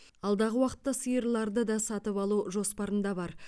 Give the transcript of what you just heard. алдағы уақытта сиырларды да сатып алу жоспарында бар